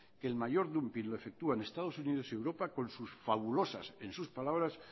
que el mayor dumping lo efectúan estado unidos y europa con sus fabulosas en sus palabras